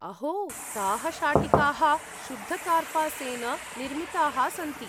अहो! ताः शाटिकाः शुद्धकार्पासेन निर्मिताः सन्ति।